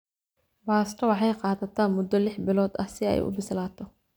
Baasto waxay qaadataa muddo lix bilood ah si ay u bislaato.